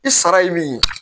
I sara ye min ye